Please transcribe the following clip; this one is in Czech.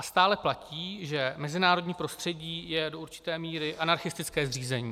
A stále platí, že mezinárodní prostředí je do určité míry anarchistické zřízení.